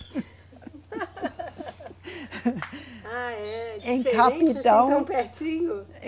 Ah, é. Em capital. Assim tão pertinho.